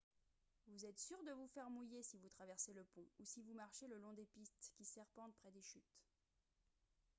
vous êtes sûr de vous faire mouiller si vous traversez le pont ou si vous marchez le long des pistes qui serpentent près des chutes